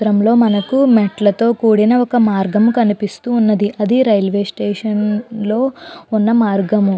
త్రం లో మనకు మెట్లతో కూడిన ఒక మార్గము కనిపిస్తూ ఉన్నది అది రైల్వే స్టేషన్లో ఉన్న మార్గము.